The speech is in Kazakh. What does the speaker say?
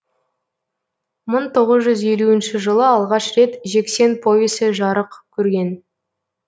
мың тоғыз жүз елуінші жылы алғаш рет жексен повесі жарық көрген